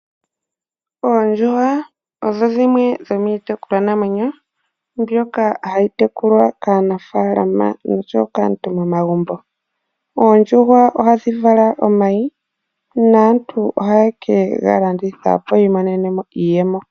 Oondjuhwa odho dhimwe dhomitekulwa naamwenyo mbyoka hayi tekulwa kaanafalama noshowo kaantu momagumbo. Oondjuhwa ohadhi vala omayi naantu ohaye kega landithapo opo yi imonene iiyemo.